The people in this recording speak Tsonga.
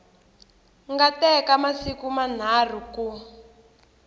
nga teka masiku manharhu ku